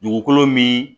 Dugukolo min